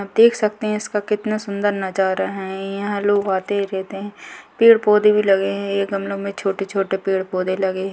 आप देख सकते है इसका कितना सूंदर नजारा है यहां लोग आते रहते है पेड़ पौधे भी लगे है ए गमलो में छोटे छोटे पेड़ पौधे लगे है।